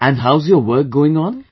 and how's your work going on